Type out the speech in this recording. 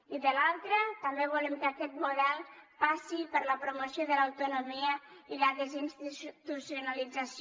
i de l’altra també volem que aquest model passi per la promoció de l’autonomia i la desinstitucionalització